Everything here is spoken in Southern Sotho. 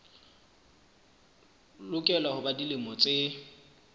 lokela ho ba dilemo tse